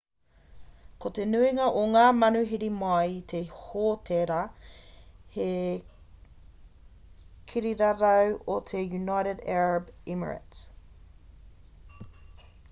ko te nuinga o ngā manuhiri mai i te hōtēra he kirirarau o te united arab emirates